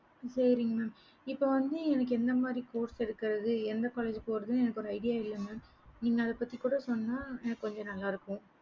இப்ப வந்து இப்ப எந்த college சேராதுன்னு idea இல்ல mam நீங்க இத பத்தி கூட சொன்ன கொஞ்சம் நல்ல இருக்கும்